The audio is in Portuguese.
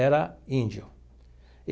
Era índio.